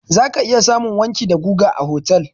Za ka iya samun wanki da guga a otal.